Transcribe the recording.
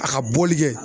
A ka bɔli kɛ